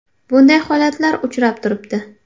Bunday holatlar uchrab turibdi.